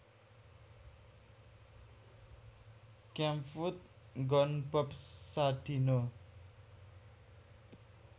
Kemfood nggon Bob Sadino